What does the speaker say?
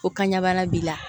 Ko kanɲɛ bana b'i la